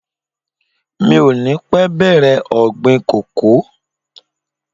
Mi ò ní pẹ́ bèrè ọ̀gbìn kòkó.